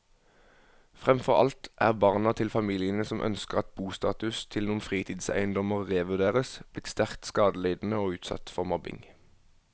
Fremfor alt er barna til familiene som ønsker at bostatus til noen fritidseiendommer revurderes, blitt sterkt skadelidende og utsatt for mobbing.